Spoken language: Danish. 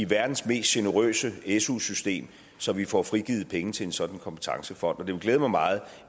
verdens mest generøse su system så vi får frigivet penge til en sådan kompetencefond og det ville glæde mig meget